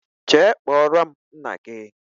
jee kpọrọ m nna gi